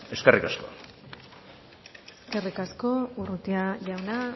eskerrik asko eskerrik asko urrutia jauna